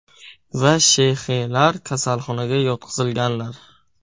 va Sh.X.lar kasalxonaga yotqizilganlar.